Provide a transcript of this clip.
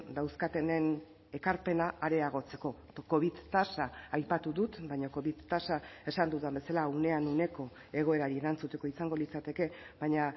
dauzkatenen ekarpena areagotzeko covid tasa aipatu dut baina covid tasa esan dudan bezala unean uneko egoerari erantzuteko izango litzateke baina